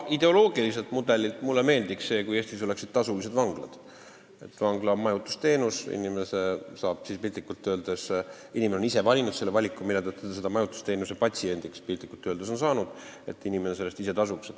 Mulle meeldiks see ideoloogiline mudel, kui Eestis oleksid tasulised vanglad: vangla pakub majutusteenust, inimene, piltlikult öeldes, on ise teinud selle valiku, mille tõttu ta on selle majutusasutuse patsiendiks saanud, ja inimene selle eest ka ise tasub.